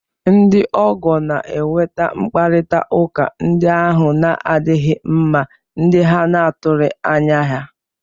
Ndị ọgọ na-eweta mkparịta ụka ndị ahụ na-adịghị mma, ndị a na-atụghị anya ha